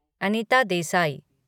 Anita Desai